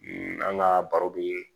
an ka baro be